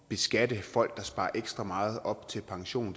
at beskatte folk der sparer ekstra meget op til pension